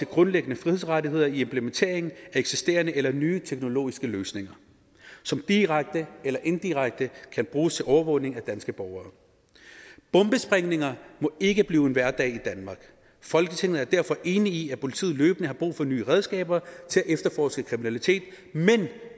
grundlæggende frihedsrettigheder i implementeringen af eksisterende eller nye teknologiske løsninger som direkte eller indirekte kan bruges til overvågning af danske borgere bombesprængninger må ikke blive hverdag i danmark folketinget er derfor enig i at politiet løbende har brug for nye redskaber til at efterforske kriminalitet men